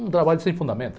Um trabalho sem fundamento.